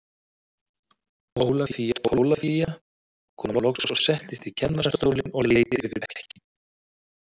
Ólafía Tólafía kom loks og settist í kennarastólinn og leit yfir bekkinn.